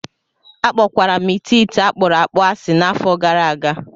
Akpọkwara m ite ite akpuru akpu asị n'afọ gara aga